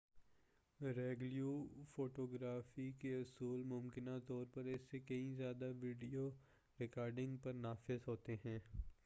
regular photography کے اصول ممکنہ طور پر اس سے کہیں زیادہ ویڈیو ریکارڈنگ پر نافذ ہوتے ہیں